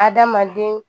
Adamaden